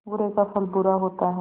बुरे का फल बुरा होता है